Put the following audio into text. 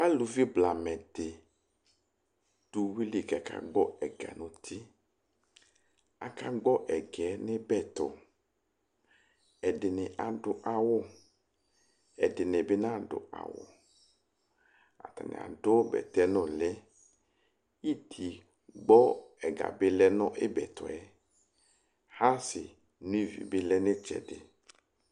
alʋvi blamɛdi dʋ ʋwili ka aka gbɔ ɛga nu ti aka gbo ɛga nu ibɛtɔ ɛdini adʋ awʋ ɛdini bi na dʋ awʋ atani adʋ bɛtɛ nʋli iti gbɔ ɛga bi lɛ nʋ ibɛtɔɛ hasi nʋ iɣi bi lɛ nʋ itsɛdi